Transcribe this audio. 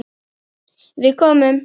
Við komum.